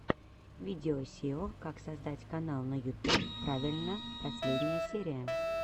видео сео как создать канал на ютуб правильно последняя серия